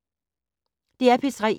DR P3